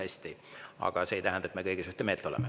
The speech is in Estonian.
See aga ei tähenda, et me kõiges ühte meelt oleme.